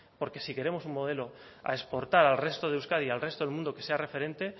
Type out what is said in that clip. porque si queremos un modelo a exportar al resto de euskadi al resto del mundo que sea referente